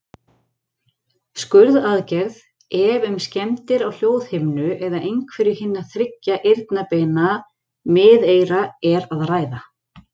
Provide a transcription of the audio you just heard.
Skurðaðgerð, ef um skemmdir á hljóðhimnu eða einhverju hinna þriggja eyrnabeina miðeyra er að ræða.